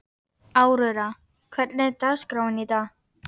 Aurora, hvernig er dagskráin í dag?